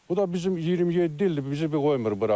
Bu da bizim 27 ildir bizi bu qoymur bura.